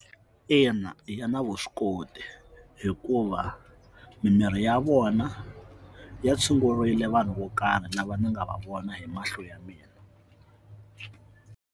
Ina, ya na vuswikoti hikuva mimirhi ya vona ya tshungurile vanhu vo karhi lava ni nga va vona hi mahlo ya mina.